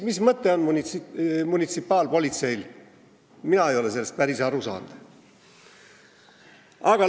Mis mõte on munitsipaalpolitseil, mina ei ole sellest päris aru saanud.